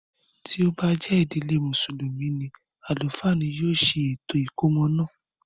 Ti o ba jẹ ìdílé musulumi ni, alufa ni yóò se ètò ìkómọ náà.